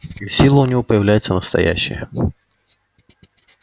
и сила у него появляется настоящая